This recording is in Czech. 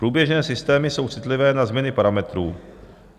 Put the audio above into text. Průběžné systémy jsou citlivé na změny parametrů.